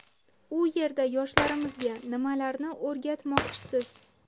U yerda yoshlarimizga nimalarni o‘rgatmoqchisiz?